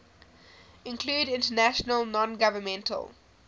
include international nongovernmental